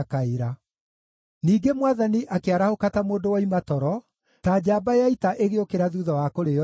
Ningĩ Mwathani akĩarahũka ta mũndũ woima toro, ta njamba ya ita ĩgĩũkĩra thuutha wa kũrĩĩo nĩ ndibei.